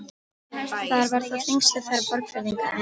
Þar var þá þingstöð þeirra Borgfirðinga, en